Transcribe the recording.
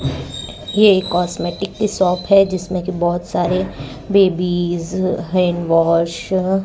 ये कॉस्मेटिक की शॉप है जिसमें की बहोत सारे बेबीस हैंड वॉश --